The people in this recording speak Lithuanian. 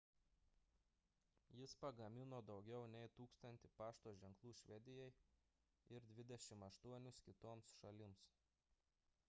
jis pagamino daugiau nei 1 000 pašto ženklų švedijai ir 28 kitoms šalims